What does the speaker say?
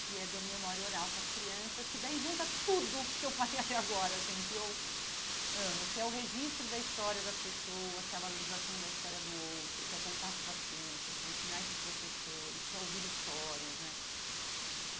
que é do Memória Oral para as Crianças, que daí junta tudo o que eu falei até agora, assim que eu amo, que é o registro da história das pessoas, que é a valorização da história do outro, que é o contato com as crianças, que é ensinar esses professores, que é ouvir histórias né.